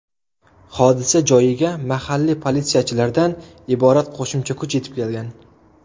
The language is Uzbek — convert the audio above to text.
Hodisa joyiga mahalliy politsiyachilardan iborat qo‘shimcha kuch yetib kelgan.